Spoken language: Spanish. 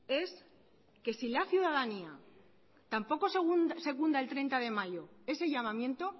es que la ciudadanía tampoco secunda el treinta de mayo ese llamamiento